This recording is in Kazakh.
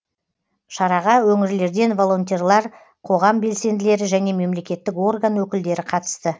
шараға өңірлерден волонтерлар қоғам белсенділері және мемлекеттік орган өкілдері қатысты